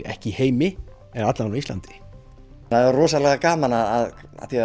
ekki í heimi en alla vega á Íslandi það er rosalega gaman að